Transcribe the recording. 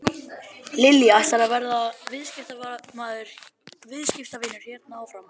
Lillý: Ætlarðu að vera viðskiptavinur hérna áfram?